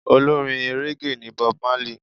Olórin régè ní Bob Marley.